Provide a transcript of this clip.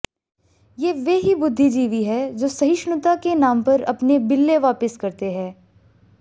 ये वे ही बुद्धिजीवी हैं जो सहिष्णुता के नाम पर अपने बिल्ले वापिस करते हैं